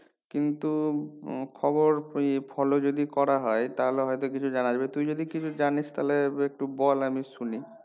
কিন্তু উম খাবার ই ফলে যদি করাহয় তাহলে হয়তো কিছুই জানাজায় তুই যদি কিছু জানিস তাহলে একটু বল আমি শুনি